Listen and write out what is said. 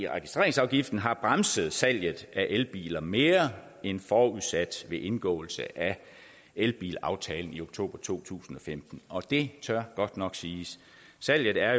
registreringsafgiften har bremset salget af elbiler mere end forudsat ved indgåelse af elbilaftalen i oktober to tusind og femten og det tør godt nok siges salget er